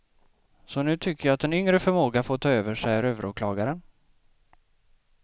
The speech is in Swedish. Så nu tycker jag en yngre förmåga får ta över, säger överåklagaren.